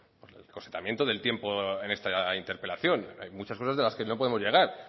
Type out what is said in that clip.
por del tiempo en esta interpelación hay muchas cosas de las que no podemos llegar